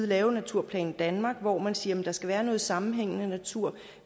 lavet naturplan danmark hvor man siger at der skal være noget sammenhængende natur